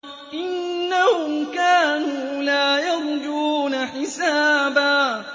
إِنَّهُمْ كَانُوا لَا يَرْجُونَ حِسَابًا